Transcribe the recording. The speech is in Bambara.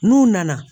N'u nana